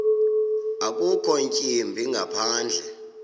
akukho ntwimbi ngaphandle